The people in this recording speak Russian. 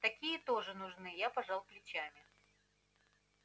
такие тоже нужны я пожал плечами